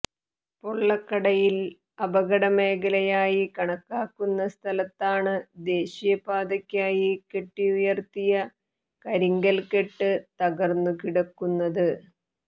പൊള്ളക്കടയിൽ അപകടമേഖലയായി കണക്കാക്കുന്ന സ്ഥലത്താണ് ദേശീയപാതയ്ക്കായി കെട്ടിയുയർത്തിയ കരിങ്കൽക്കെട്ട് തകർന്നുകിടക്കുന്നത്